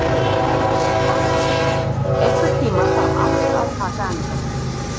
Kæja, einhvern tímann þarf allt að taka enda.